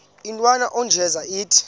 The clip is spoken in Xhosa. intwana unjeza ithi